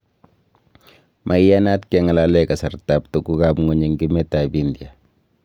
Maiyanat keng'alalee kasartab tuguk ab kwonyik eng emet ab india